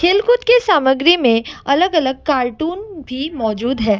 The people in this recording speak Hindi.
खेलकूद सामग्री में अलग अलग कार्टून भी मौजूद है।